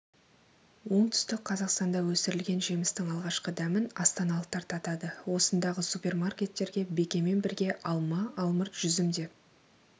оңтүстік қазақстанда өсірілген жемістің алғашқы дәмін астаналықтар татады осындағы супермаркеттерге бекемен бірге алма алмұрт жүзім де